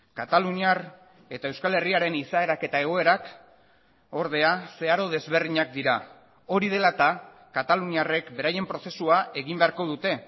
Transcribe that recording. kataluniar eta euskal herriaren izaerak eta egoerak ordea zeharo desberdinak dira hori dela eta kataluniarrek beraien prozesua egin beharko dute